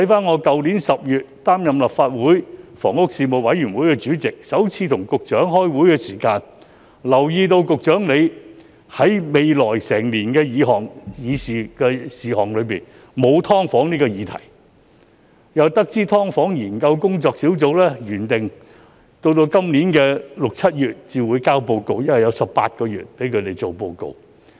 我去年10月出任立法會房屋事務委員會主席，首次與局長開會時，我便留意到局長未有在來年的議程事項中納入"劏房"議題，並得知"劏房"租務管制研究工作小組原定在今年6月、7月才提交報告，因為擬備報告需時18個月。